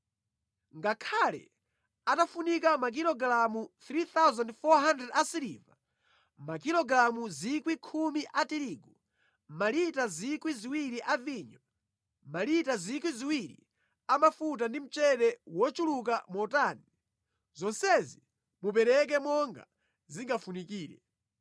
Ngakhale atafunika makilogalamu 3,400 asiliva, makilogalamu 10,000 a tirigu, malita 2,000 a vinyo, malita 2,000 a mafuta ndi mchere wochuluka motani, zonsezi mupereke monga zingafunikire.